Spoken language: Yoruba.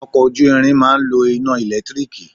Ọkọ̀ ojú ìrìn máa ń lo iná ẹ̀lẹ́tírííkiì